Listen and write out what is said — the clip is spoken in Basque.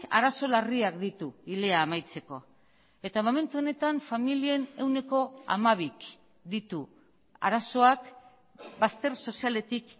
arazo larriak ditu hilea amaitzeko eta momentu honetan familien ehuneko hamabik ditu arazoak bazter sozialetik